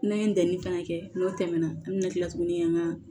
N'an ye ntɛnɛn fana kɛ n'o tɛmɛna an bɛ na kila tuguni ka